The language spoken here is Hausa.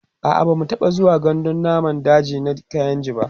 a'a bamu taɓa zuwa gandun namun daji na kainji ba